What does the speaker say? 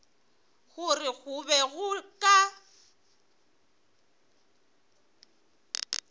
gore go be go ka